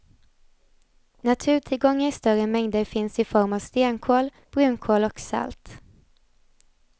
Naturtillgångar i större mängder finns i form av stenkol, brunkol och salt.